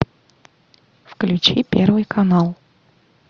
включи первый канал